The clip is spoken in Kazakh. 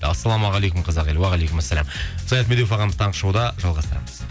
ассалаумағалейкум қазақ елі уағалейкумассалам саят медеуов ағамыз таңғы шоуда жалғастырамыз